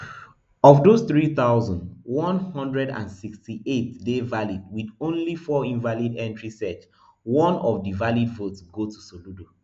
of those three thousand, one hundred and sixty-eight dey valid wit only four invalid entrieseach one of di valid votes go to soludo